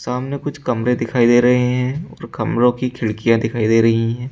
सामने कुछ कमरे दिखाई दे रहे हैं और कमरों की खिड़कियां दिखाई दे रही है।